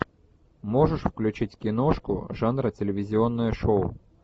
можешь включить киношку жанра телевизионное шоу